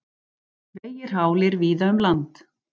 Vegir hálir víða um land